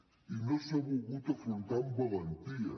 i no s’ha volgut afrontar amb valentia